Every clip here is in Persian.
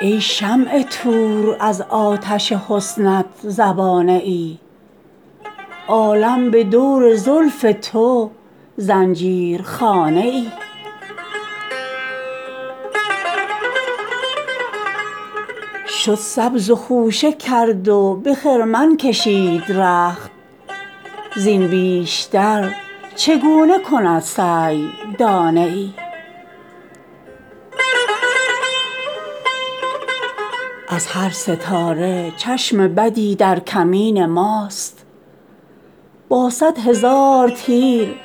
ای شمع طور از آتش حسنت زبانه ای عالم به دور زلف تو زنجیرخانه ای شد سبز و خوشه کرد و به خرمن کشید رخت زین بیشتر چگونه کند سعی دانه ای از هر ستاره چشم بدی در کمین ماست با صدهزار تیر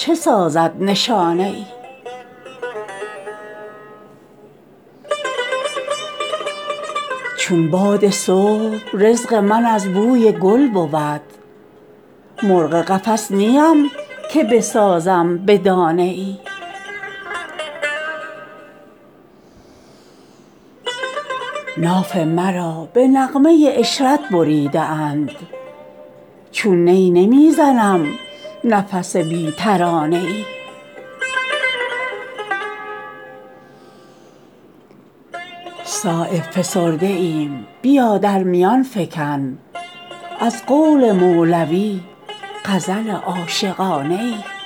چه سازد نشانه ای چون سر برون برد به سلامت سپند ما زین بحر آتشین که ندارد کرانه ای چون باد صبح رزق من از بوی گل بود مرغ قفس نیم که بسازم به دانه ای عاشق کسی بود که درین دشت آتشین پروانه وار خوش نکند آشیانه ای ناف مرا به نغمه عشرت بریده اند چون نی نمی زنم نفس بی ترانه ای صایب فسرده ایم بیا در میان فکن از قول مولوی غزل عاشقانه ای